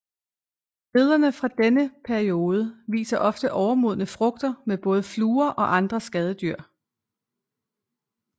Billederne fra denne periode viser ofte overmodne frugter med både fluer og andre skadedyr